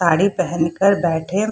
साड़ी पेहन कर बैठे --